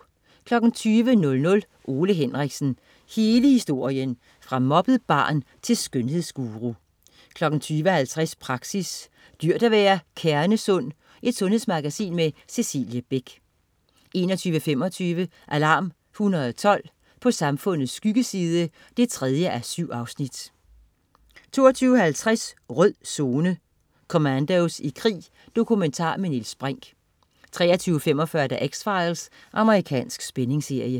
20.00 Ole Henriksen. Hele historien. Fra mobbet barn til skønhedsguru 20.50 Praxis: Dyrt at være kernesund? Sundhedsmagasin med Cecilie Beck 21.25 Alarm 112. På samfundets skyggeside 3:7 22.50 Rød Zone: Commandos i krig. Dokumentar med Niels Brinch 23.45 X-Files. Amerikansk spændingsserie